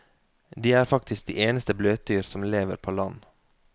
De er faktisk de eneste bløtdyr som lever på land.